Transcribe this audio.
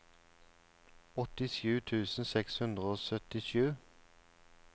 åttisju tusen seks hundre og syttisju